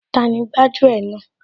Tani gbájú ẹ̀ náà